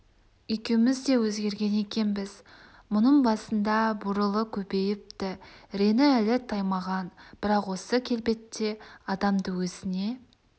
екеуміз де өзгерген екенбіз мұның басында бурылы көбейіпті реңі әлі таймаған бірақ осы келбетте адамды өзіне